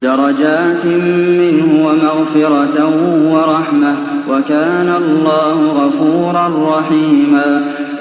دَرَجَاتٍ مِّنْهُ وَمَغْفِرَةً وَرَحْمَةً ۚ وَكَانَ اللَّهُ غَفُورًا رَّحِيمًا